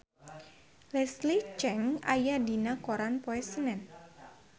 Leslie Cheung aya dina koran poe Senen